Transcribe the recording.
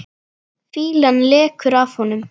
Fýlan lekur af honum.